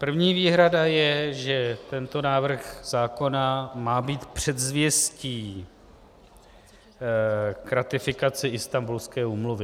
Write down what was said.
První výhrada je, že tento návrh zákona má být předzvěstí k ratifikaci Istanbulské úmluvy.